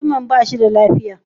Mutumin ba shi da lafiya?